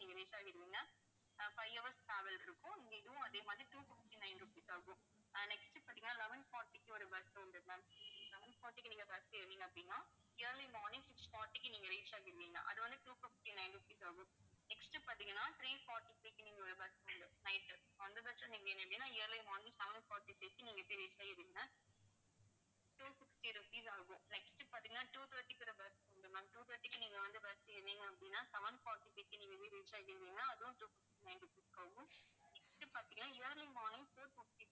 நீங்க போய் reach ஆயிருவீங்க two fifty rupees ஆகும் next பாத்தீங்கன்னா two thirty க்கு ஒரு bus இருக்குது ma'am two thirty க்கு நீங்க வந்து bus ஏறுனீங்க அப்படின்னா, seven forty-five க்கு, நீங்க வந்து reach ஆகிருவீங்க அதுவும், two fifty-nine rupees ஆகும் next பாத்தீங்கன்னா early morning four fifty